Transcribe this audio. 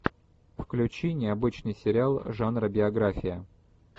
включи необычный сериал жанра биография